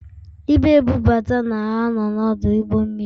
Ibu ebubata na ano n'ọdụ ụgbọ mmiri